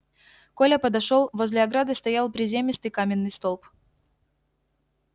коля подошёл возле ограды стоял приземистый каменный столб